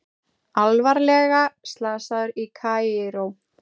Alvarlega slasaður í Kaíró